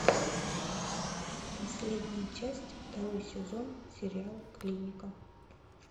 последняя часть второй сезон сериал клиника